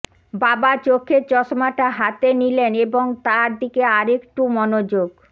বাবা চোখের চশমাটা হাতে নিলেন এবং তার দিকে আরেকটু মনোযোগ